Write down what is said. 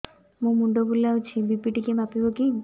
ମୋ ମୁଣ୍ଡ ବୁଲାଉଛି ବି.ପି ଟିକିଏ ମାପିବ କି